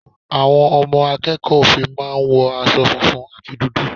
Àwọn ọmọ akẹ́kọ̀ọ́ òfin máa ń wo aṣọ funfun àti dúdú.